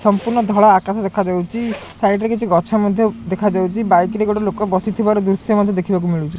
ସମ୍ପୂର୍ଣ୍ଣ ଧଳା ଆକାଶ ଦେଖାଯାଉଚି ସାଇଟ୍ ରେ କିଛି ଗଛ ମଧ୍ୟ ଦେଖାଯାଉଚି ବାଇକ ରେ ଗୋଟେ ଲୋକ ବସିଥିବାର ଦୃଶ୍ୟ ମୋତେ ଦେଖିବାକୁ ମିଳୁଚି।